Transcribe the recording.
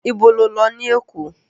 Ibo lo lọ ní Èkó?